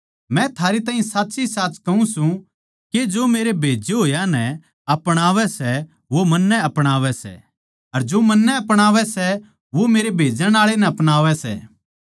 मै थारै ताहीं साच्चीसाच कहूँ सूं के जो मेरे खन्दाए होड़ नै अपणावै सै वो मन्नै अपणावै सै अर जो मन्नै अपणावै सै वो मेरे भेजण आळे नै अपणावै सै